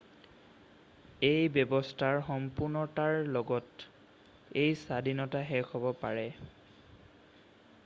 এই ব্যবস্থাৰ সম্পুৰ্ণতাৰ লগত, এই স্বাধীনতা শেষ হব পাৰে।